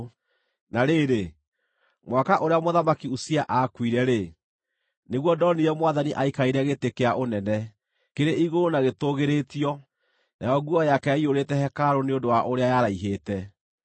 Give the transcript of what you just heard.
Na rĩrĩ, mwaka ũrĩa Mũthamaki Uzia aakuire-rĩ, nĩguo ndonire Mwathani aikarĩire gĩtĩ kĩa ũnene, kĩrĩ igũrũ na gĩtũũgĩrĩtio, nayo nguo yake yaiyũrĩte hekarũ nĩ ũndũ wa ũrĩa yaraihĩte.